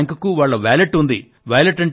ప్రతి బ్యాంక్ కు వాళ్ళ వాలెట్ అంటూ ఉంది